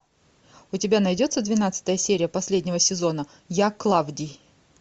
у тебя найдется двенадцатая серия последнего сезона я клавдий